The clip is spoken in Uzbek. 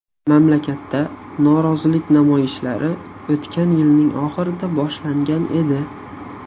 Mamlakatda norozilik namoyishlari o‘tgan yilning oxirida boshlangan edi.